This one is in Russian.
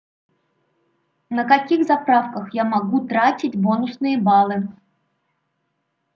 на каких заправках я могу тратить бонусные баллы